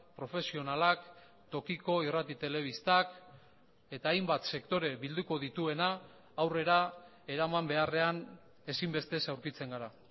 profesionalak tokiko irrati telebistak eta hainbat sektore bilduko dituena aurrera eraman beharrean ezinbestez aurkitzen gara